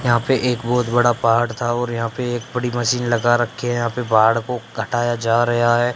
यहां पे एक बहुत बड़ा पहाड़ था और यहां पे एक बड़ी मशीन लगा रखी है यहां पे पहाड़ को घटाया जा रहा है।